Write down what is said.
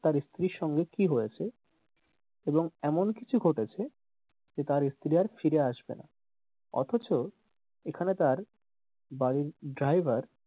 তার স্ত্রীর সঙ্গে কি হয়েছে এবং এমন কিছু ঘটেছে যে তার স্ত্রী আর ফিরে আসবেনা অথচ এখানে তার বাড়ির driver,